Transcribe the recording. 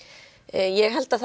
ég held að